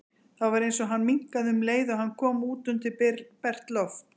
Það var eins og hann minnkaði um leið og hann kom út undir bert loft.